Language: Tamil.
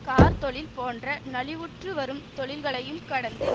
கார்த்தொழில் போன்ற நலிவுற்று வரும் தொழில்களையும் கடந்து